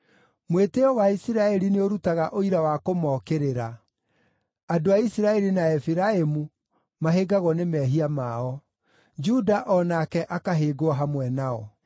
Mwĩtĩĩo wa Isiraeli nĩũrutaga ũira wa kũmookĩrĩra; andũ a Isiraeli na Efiraimu mahĩngagwo nĩ mehia mao; Juda o nake akahĩngwo hamwe nao.